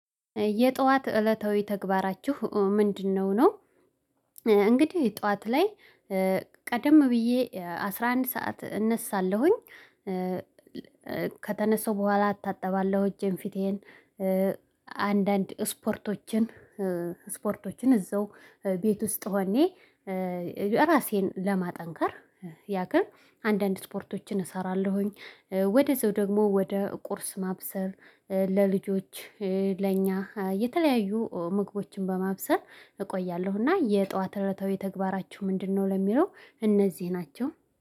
የጧት እለታዊ ተግባራችሁ ምንድነው? ነው እንግዲህ ጧት ላይ ቀደም ብዬ አስራ አንድ ሰዓት እነሳለሁኝ። ከተነሳው በኋላ እታጥባለሁ እጄን ፊቴን። አንዳንድ ስፖርቶችን ስፖርቶችን እዛው ቤት ውስጥ ሆኘ ራሴን ለማጠንከር ያክር አንዳንድ ስፖርቶችን እሰራለሁኝ። ወደ ዛው ደግሞ ወደ ቁርስ ማብሰብ ለልጆች ለእኛ የተለያዩ ምግቦችን በማብሰር እቆያለሁ። እና የጧት እለታዊ ተግባራችሁ ምንድነው? ለሚለው እነዚህ ናቸው